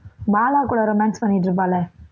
பாலா கூட romance பண்ணிட்டு இருப்பாள்ல